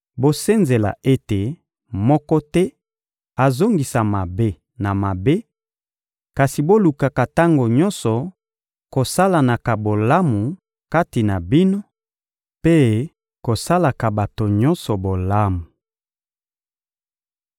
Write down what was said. Bosenzela ete moko te azongisa mabe na mabe, kasi bolukaka tango nyonso kosalanaka bolamu kati na bino mpe kosalaka bato nyonso bolamu.